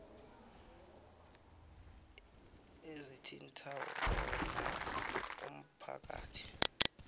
ezithinta wona umphakathi